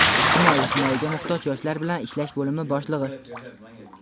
Ijtimoiy himoyaga muhtoj yoshlar bilan ishlash bo‘limi boshlig‘i.